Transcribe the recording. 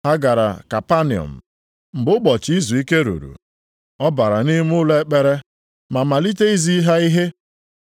Ha gara Kapanọm, mgbe ụbọchị izuike ruru, ọ bara nʼime ụlọ ekpere ma malite izi ha ihe.